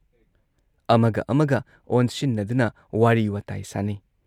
ꯑꯃꯒ ꯑꯃꯒ ꯑꯣꯟꯁꯤꯟꯅꯗꯨꯅ ꯋꯥꯔꯤ ꯋꯥꯇꯥꯏ ꯁꯥꯟꯅꯩ ꯫